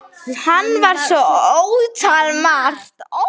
Hann var svo ótal margt.